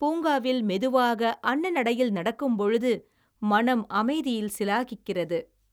பூங்காவில் மெதுவாக அன்ன நடையில் நடக்கும்பொழுது மனம் அமைதியில் சிலாகிக்கிறது